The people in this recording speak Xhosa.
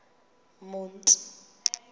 monti